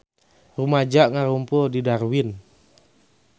Rumaja ngarumpul di Darwin